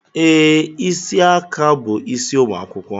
Ee, isi aka bu isi ụmụ akwụkwọ